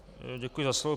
Děkuji za slovo.